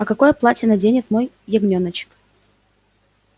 а какое платье наденет мой ягнёночек